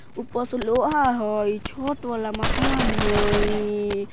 ऊपर से लोहा हई छत वाला मकान हई।